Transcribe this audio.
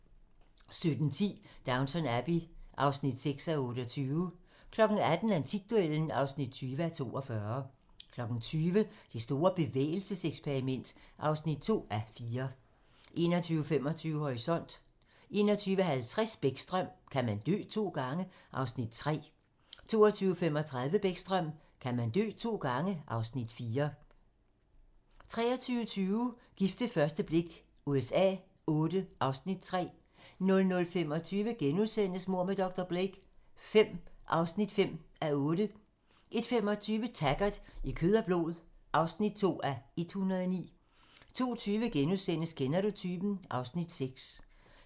17:10: Downton Abbey (6:28) 18:00: Antikduellen (20:42) 20:00: Det store bevægelseseksperiment (2:4) 21:25: Horisont 21:50: Bäckström: Kan man dø to gange? (Afs. 3) 22:35: Bäckström: Kan man dø to gange? (Afs. 4) 23:20: Gift ved første blik USA Vlll (Afs. 3) 00:25: Mord med dr. Blake V (5:8)* 01:25: Taggart: I kød og blod (2:109) 02:20: Kender du typen? (Afs. 6)*